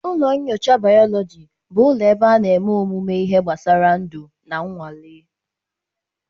Ụlọ nyocha bayoloji bụ ụlọ ebe a na-eme ọmụmụ ihe gbasara ndu na nnwale.